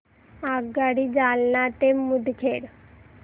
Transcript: आगगाडी जालना ते मुदखेड